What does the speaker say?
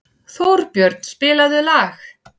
Þórbjörn, spilaðu lag.